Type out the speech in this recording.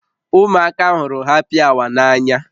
Ụmụaka hụrụ hapi awa n'anya